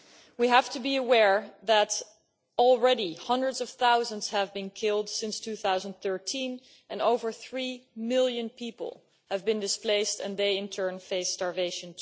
We have to be aware that already hundreds of thousands have been killed since 2013 and over three million people have been displaced, and they in turn face starvation.